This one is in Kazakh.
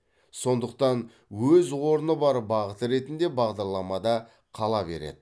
сондықтан өз орны бар бағыт ретінде бағдарламада қала береді